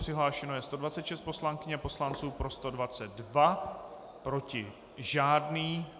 Přihlášeno je 126 poslankyň a poslanců, pro 122, proti žádný.